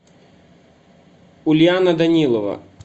ульяна данилова